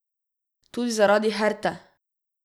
Tudi zaradi Herte!